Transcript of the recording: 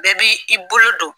Bɛɛ b'i i bolo don.